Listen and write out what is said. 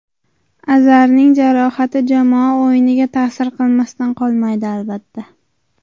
Azarning jarohati jamoa o‘yiniga ta’sir qilmasdan qolmaydi, albatta.